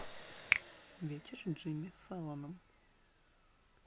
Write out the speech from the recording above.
вечер с джимми фэллоном